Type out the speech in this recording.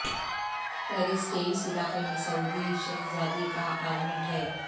Paris کے اس علاقے میں سعودی شہزادی کا اپارٹمنٹ ہے